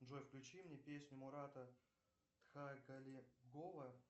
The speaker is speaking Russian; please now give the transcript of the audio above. джой включи мне песню мурата тхагалегова